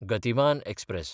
Gatimaan express